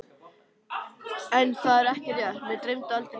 En það var ekki rétt, mig dreymdi aldrei neitt.